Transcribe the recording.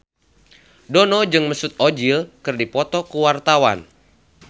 Dono jeung Mesut Ozil keur dipoto ku wartawan